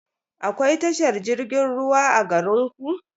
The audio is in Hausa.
Akwai tashar jirgin ruwa a garinku?